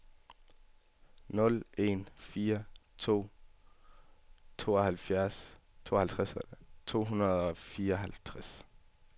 nul en fire to tooghalvtreds to hundrede og fireoghalvtreds